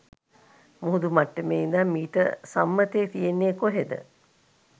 මුහුදු මට්ටමේ ඉඳන් මීටර් සම්මතය තියෙන්නේ කොහෙද?